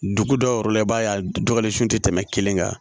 Dugu dɔw yɔrɔ la i b'a ye a dɔgɔkɛlen sun tɛ tɛmɛ kelen kan